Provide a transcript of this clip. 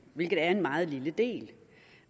hvilket er en meget lille del